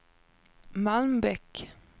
Malmbäck